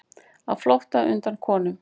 Á flótta undan konum